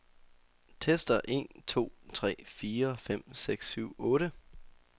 Tester en to tre fire fem seks syv otte.